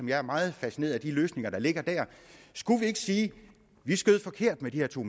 jeg er meget fascineret af de løsninger der ligger der skulle man ikke sige vi skød forkert med de her to